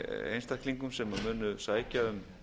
einstaklingum sem munu sækja um